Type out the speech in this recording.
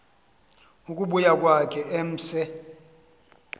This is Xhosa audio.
ukubuya kwakhe emse